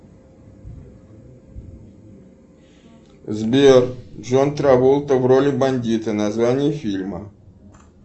сбер джон траволта в роли бандита название фильма